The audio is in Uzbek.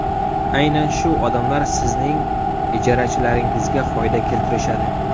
Aynan shu odamlar sizning ijarachilaringizga foyda keltirishadi.